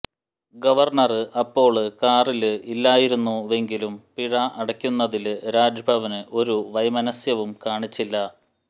governor അപ്പോള് കാറില് ഇല്ലായിരുന്നുവെങ്കിലും പിഴ അടയ്ക്കുന്നതില് രാജ്ഭവന് ഒരു വൈമനസ്യവും കാണിച്ചില്ല